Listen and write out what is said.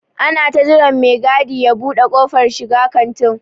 Ana ta jiran me gadi ya ɓude kofar shiga kantin.